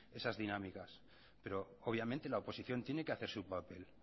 esas dinámicas pero obviamente la oposición tiene que hacer su papel